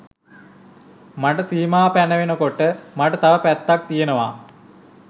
මට සීමා පැනවෙන කොට මට තව පැත්තක් තියනවා